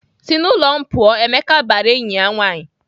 "Sị n'ụlọ m pụọ! " Emeka bara enyi ya nwaanyị.